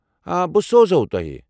آ، بہٕ سوزہوو تۄہہ۔